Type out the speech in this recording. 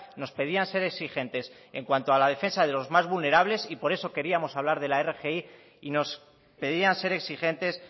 nos pedían ser exigentes en cuanto a la defensa de los más vulnerables y por eso queríamos hablar de la rgi y nos pedían ser exigentes